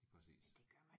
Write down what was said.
Præcis